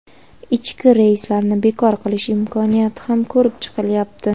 ichki reyslarni bekor qilish imkoniyati ham ko‘rib chiqilyapti.